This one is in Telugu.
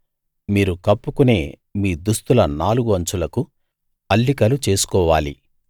మీరు కప్పుకొనే మీ దుస్తుల నాలుగు అంచులకు అల్లికలు చేసుకోవాలి